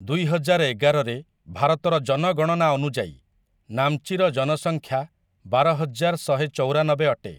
ଦୁଇହଜାର ଏଗାରରେ ଭାରତର ଜନଗଣନା ଅନୁଯାୟୀ, ନାମ୍ଚି ର ଜନସଂଖ୍ୟା ବାରହଜାର ଶହେ ଚଉରାନବେ ଅଟେ ।